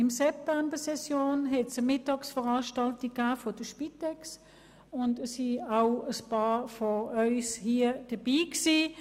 Während der Septembersession gab es eine Mittagsveranstaltung der Spitex, an welcher auch ein paar Ratsmitglieder teilnahmen.